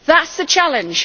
That is the challenge.